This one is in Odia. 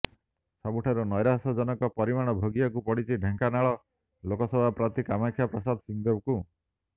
ସବୁଠାରୁ ନ୘ରାଶ୍ୟଜନକ ପରିଣାମ ଭୋଗିବାକୁ ପଡ଼ିଛି ଢେଙ୍କାନାଳ ଲୋକସଭା ପ୍ରାର୍ଥୀ କାମାକ୍ଷା ପ୍ରସାଦ ସିଂହଦେଓଙ୍କୁ